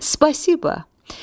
Spasibo.